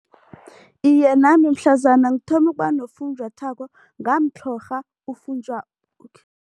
Iye, nami mhlazana ngithoma ukuba nofunjathwako ngamtlhorha